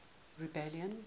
rebellion